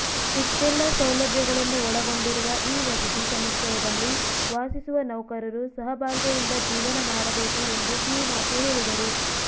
ಇಷ್ಟೆಲ್ಲಾ ಸೌಲಭ್ಯಗಳನ್ನು ಒಳಗೊಂಡಿರುವ ಈ ವಸತಿ ಸಮುಚ್ಚಯದಲ್ಲಿ ವಾಸಿಸುವ ನೌಕರರು ಸಹಬಾಳ್ವೆಯಿಂದ ಜೀವನ ಮಾಡಬೇಕು ಎಂದು ಕಿವಿ ಮಾತು ಹೇಳಿದರು